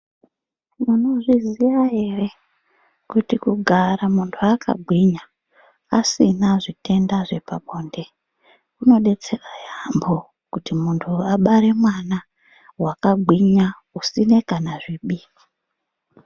Munozviziya ere kuti kugara muntu akagwinya asina zvitenda zvepabonde kunobetsera yaambo. Kuti muntu abare mwana vakagwinya usine kana zvibini.